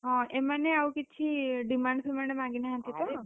ହଁ, ଏମାନେ ଆଉ କିଛି demand ଫିମାଣ୍ଡ ମାଗିନାହାନ୍ତି ତ?